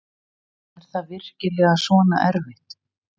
Er það virkilega svona erfitt?